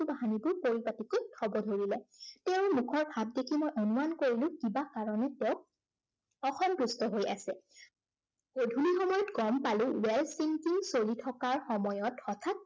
বস্তু বাহিনীবোৰ পৰিপাটিকৈ থব ধৰিলে। তেওঁৰ মুখৰ ভাৱ দেখি মই অনুমান কৰিলো কিবা কাৰনে তেওঁ অসন্তুষ্ট হৈ আছে। গধূলি সময়ত গম পালো কৰি থকাৰ সময়ত হঠাৎ